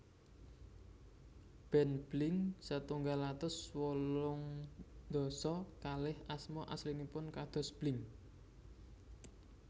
Band Blink setunggal atus wolung dasa kalih asma aslinipun kados Blink